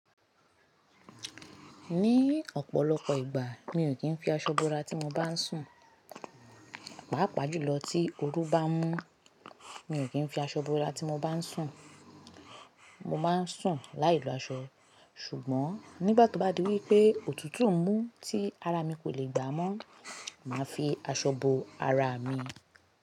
Ní ọ̀pọ̀lọpọ̀ ìgbà mi ò kí ń fi aṣọ bo ara ti mo bá ń sùn, pàápàá jùlọ tí ooru bá mú mi ò kí ń fi aṣọ bo ara ti mo bá ń sùn. Mo máa ń sùn láì lo aṣọ, ṣùgbọ́n nígbà tí ó bá di wípé òtútù ń mú tí ara mi kò le gbà mọ́, màá fi aṣọ bo ara mi.